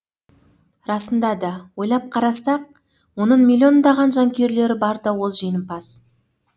расында да ойлап қарасақ оның миллиондаған жанкүйерлері барда ол жеңімпаз